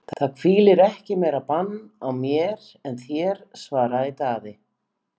Það hvílir ekki meira bann á mér en þér, svaraði Daði.